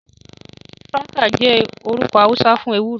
Shuwaka jẹ orukọ Hausa fun ewuro.